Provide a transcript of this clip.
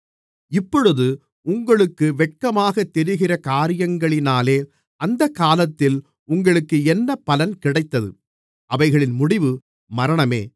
இப்பொழுது உங்களுக்கு வெட்கமாகத் தெரிகிற காரியங்களினாலே அந்தகாலத்தில் உங்களுக்கு என்ன பலன் கிடைத்தது அவைகளின் முடிவு மரணமே